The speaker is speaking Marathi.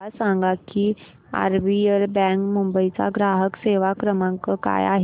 मला सांगा की आरबीएल बँक मुंबई चा ग्राहक सेवा क्रमांक काय आहे